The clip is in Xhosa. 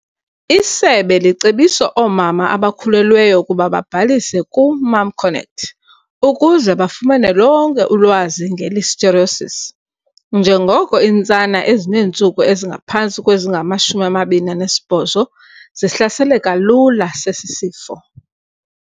Isebe licebisa oomama abakhulelweyo ukuba babhalise ku-MomConnect ukuze bafumane lonke ulwazi nge-Listeriosis njengoko iintsana ezineentsuku ezingaphantsi kwezingama-28 zihlaseleka lula sesi sifo.